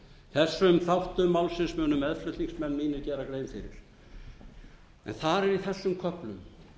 þessum þáttum málsins munu meðflutningsmenn mínir gera grein fyrir en þar er í þessum köflum